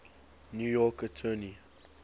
new york attorney